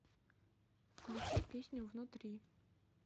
включи песню внутри